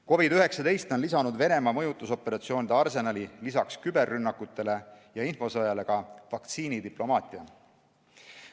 COVID-19 on lisanud Venemaa mõjutusoperatsioonide arsenali lisaks küberrünnakutele ja infosõjale ka vaktsiinidiplomaatia.